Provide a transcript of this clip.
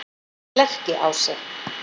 Lerkiási